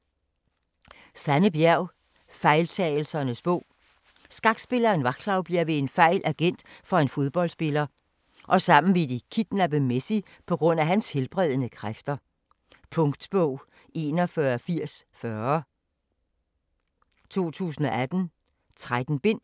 Bjerg, Sanne: Fejltagelsernes bog Skakspilleren Vaclav bliver ved en fejl agent for en fodboldspiller og sammen vil de kidnappe Messi pga. hans helbredende kræfter. Punktbog 418040 2018. 13 bind.